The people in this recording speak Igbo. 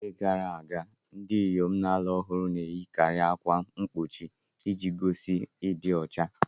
N'oge gara aga, ndị inyom na-alụ ọhụrụ na-eyikarị ákwà mgbochi iji gosi ịdị ọcha.